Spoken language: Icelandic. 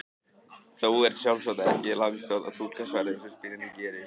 Þó er sjálfsagt ekki langsótt að túlka svarið eins og spyrjandi gerir.